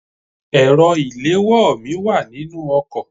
My phone is in the car